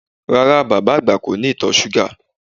Rárá, bàbá àgbà kò ní ìtọ̀ súgà